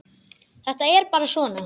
Þetta er bara svona.